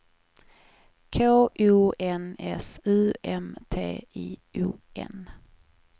K O N S U M T I O N